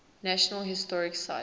national historic site